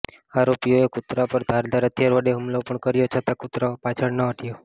આરોપીઓએ કુતરા પર ધારદાર હથિયાર વડે હુમલો પણ કર્યો છતાં કુતરો પાછળ ન હટ્યો